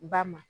Ba ma